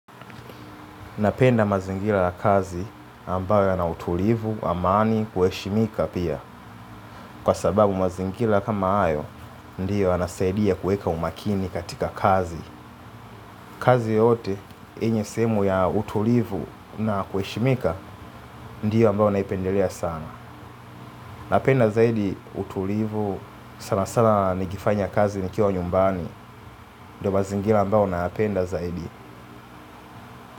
Napenda mazingira ya kazi ambayo ya na utulivu, amani, kuheshimika pia. Kwa sababu mazingira kama hayo, ndiyo yanasaidia kuweka umaakini katika kazi. Kazi yoyote, yenye semu ya utulivu na kuheshimika, ndiyo ambayo naipendelea sana. Napenda zaidi utulivu, sana sana nikifanya kazi nikiwa nyumbani, ndiyo mazingira ambayo nayapenda zaidi.